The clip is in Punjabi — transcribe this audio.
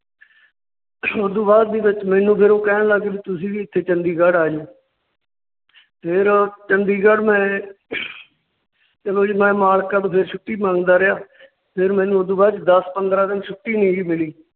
ਉਸ ਤੋਂ ਬਾਅਦ ਦੇ ਵਿੱਚ ਮੈਨੂੰ ਫਿਰ ਉਹ ਕਹਿਣ ਲੱਗ ਪਈ ਕਿ ਤੁਸੀਂ ਵੀ ਇੱਥੇ ਚੰਡੀਗੜ੍ਹ ਆ ਜਾਉ। ਫਿਰ ਚੰਡੀਗੜ੍ਹ ਮੈ ਚਲੋਂ ਜੀ ਮੈਂ ਮਾਲਕਾਂ ਤੋਂ ਫਿਰ ਛੁੱਟੀ ਮੰਗਦਾ ਰਿਹਾ। ਤੇ ਫਿਰ ਮੈਨੂੰ ਉਸ ਤੋਂ ਦੱਸ ਪੰਦਰਾਂ ਦਿਨ ਬਾਅਦ ਛੁੱਟੀ ਨਹੀਂ ਸੀ ਗੀ ਮਿਲੀ।